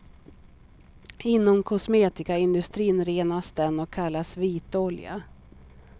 Inom kosmetikaindustrin renas den och kallas vitolja.